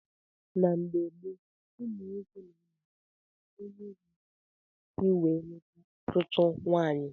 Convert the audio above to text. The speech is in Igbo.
N' mgbe gboo ụmụnwoke na- ama aka ónyé ga akasị wee lụta ọtụtụ nwaanyị.